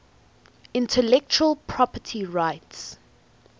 intellectual property rights